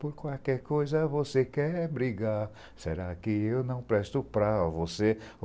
Por qualquer coisa você quer brigar. Será que eu não presto para você?